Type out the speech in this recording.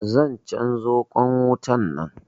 Zan canzo ƙwan wutan nan.